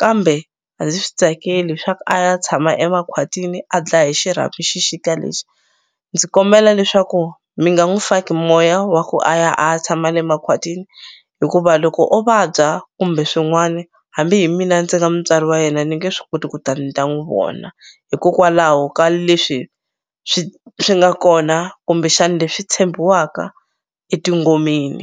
kambe a ndzi swi tsakeli swa a ya tshama emakhwatini a dlaya hi xirhami xixika lexi ndzi kombela leswaku mi nga n'wu faki moya wa ku a ya a tshama le makhwatini hikuva loko o vabya kumbe swin'wani hambi hi mina ndzi nga mutswari wa yena ni nge swi koti ku ta ni ta n'wu vona hikokwalaho ka leswi swi swi nga kona kumbexani leswi tshembiwaka etingomeni